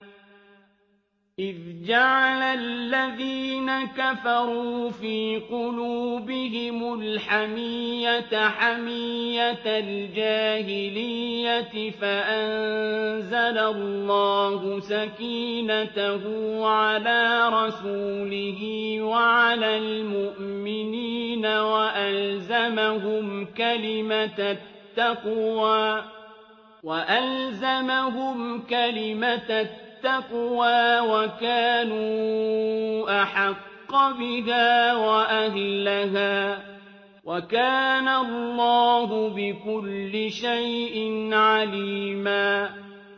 إِذْ جَعَلَ الَّذِينَ كَفَرُوا فِي قُلُوبِهِمُ الْحَمِيَّةَ حَمِيَّةَ الْجَاهِلِيَّةِ فَأَنزَلَ اللَّهُ سَكِينَتَهُ عَلَىٰ رَسُولِهِ وَعَلَى الْمُؤْمِنِينَ وَأَلْزَمَهُمْ كَلِمَةَ التَّقْوَىٰ وَكَانُوا أَحَقَّ بِهَا وَأَهْلَهَا ۚ وَكَانَ اللَّهُ بِكُلِّ شَيْءٍ عَلِيمًا